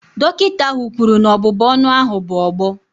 Dọkịta ahụ kwuru na ọbụbụ ọnụ ahụ bụ ọgbọ